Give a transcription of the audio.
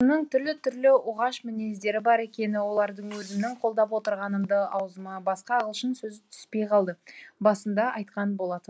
түрлі түрлі оғаш мінездері бар екені оларды өзімнің қолдап отырғанымды аузыма басқа ағылшын сөзі түспей қалды басында айтқан болатынмын